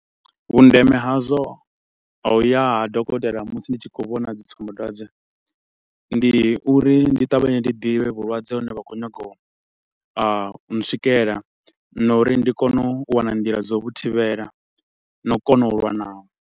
Vhundeme hazwo a u ya ha dokotela musi ndi tshi kho u vhona dzi tsumbadwadze ndi uri ndi ṱavhanye ndi ḓivhe vhulwadze hune vha khou nyaga u a u swikela na uri ndi kone u wana nḓila dza u vhu thivhela, na u kona u lwa naho.